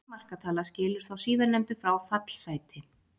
Einungis markatala skilur þá síðarnefndu frá fallsæti.